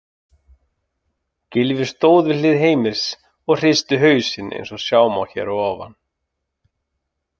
Gylfi stóð við hlið Heimis og hristi hausinn eins og sjá má hér að ofan.